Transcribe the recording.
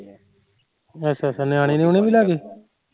ਅੱਛਾ ਅੱਛਾ ਨਿਆਣਏ ਨਿਉਣਏ ਵੀ ਲੈਗੇ